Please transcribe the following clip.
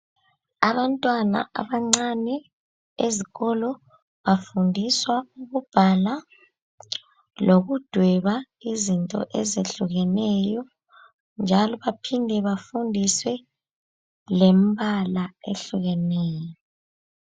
Abantwana abancane ezikolo bafundiswa ukubhala lokudweba izinto ezehlukeneyo njalo baphinde bafundiswe lembala ehlukeneyo.